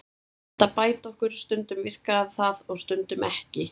Hann reyndi að bæta okkur, stundum virkaði það og stundum ekki.